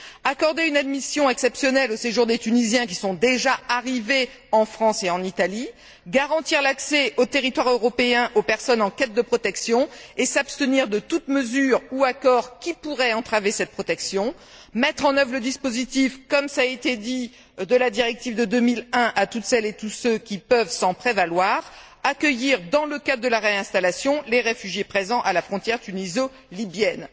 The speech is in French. Il faudrait aussi accorder une admission exceptionnelle au séjour des Tunisiens qui sont déjà arrivés en France et en Italie, garantir l'accès au territoire européen aux personnes en quête de protection et s'abstenir de toute mesure ou de tout accord qui pourrait entraver cette protection, mettre en œuvre le dispositif comme cela a été dit de la directive de 2001 à toutes celles et à tous ceux qui peuvent s'en prévaloir, et accueillir, dans le cadre de la réinstallation, les réfugiés présents à la frontière tuniso libyenne.